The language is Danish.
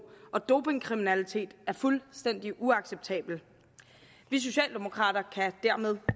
og dopingkriminalitet er fuldstændig uacceptabelt vi socialdemokrater kan dermed